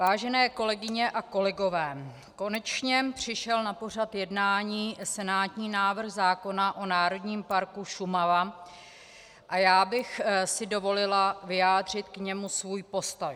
Vážené kolegyně a kolegové, konečně přišel na pořad jednání senátní návrh zákona o Národním parku Šumava a já bych si dovolila vyjádřit k němu svůj postoj.